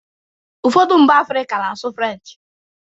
Ụfọdụ mba Africa na-asụ French